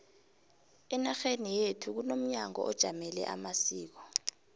enarheni yekhu kunomnyango ojamele amasiko